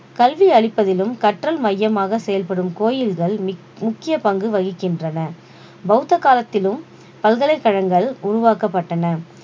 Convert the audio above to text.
கல்வி அளிப்பதிலும் கற்றல் மையமாக செயல்படும் கோயில்கள் மிக்~ முக்கிய பங்கு வகிக்கின்றன பௌத்த காலத்திலும் பல்கலைக்கழகங்கள் உருவாக்கப்பட்டன